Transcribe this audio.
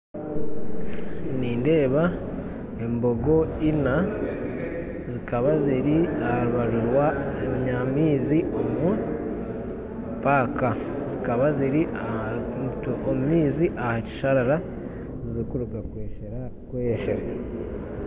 Nindeeba embogo ina zikaba ziri aha rubaju rw'amaizi omu paaka zikaba ziri omu maizi aha kisharara zirikuruga kweyeshera